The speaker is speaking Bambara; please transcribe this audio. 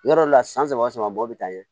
Yɔrɔ dɔ la san saba san bɔ bɛ taa ɲɛ